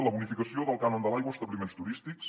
la bonificació del cànon de l’aigua a establiments turístics